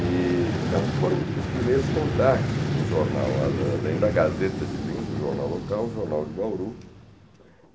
E então, foram para os primeiros contactos com o jornal, a além da Gazeta de Linhos, o jornal local, o jornal de Bauru.